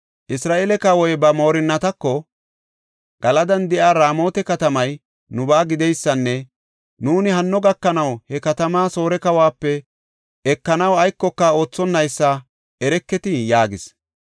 Isra7eele kawoy ba moorinnatako, “Galadan de7iya Raamota katamay nubaa gideysanne nuuni hanno gakanaw he katamaa Soore kawuwape ekanaw aykoka oothonaysa ereketii?” yaagis.